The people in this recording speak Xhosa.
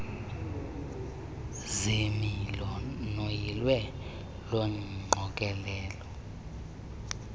ziimilo noyilo lwengqokelela